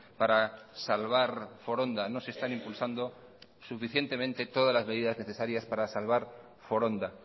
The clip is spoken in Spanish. para salvar foronda no se están impulsando suficientemente todas las medidas necesarias para salvar foronda